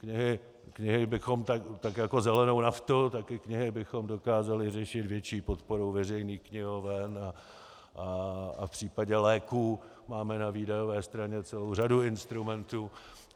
Knihy bychom, tak jako zelenou naftu, tak i knihy bychom dokázali řešit větší podporou veřejných knihoven a v případě léků máme na výdajové straně celou řadu instrumentů.